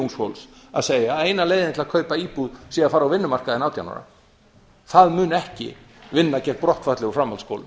ungs fólks að segja að eina leiðin til að kaupa íbúð sé að fara á vinnumarkaðinn átján ára það mun ekki vinna gegn brottfalli úr framhaldsskólum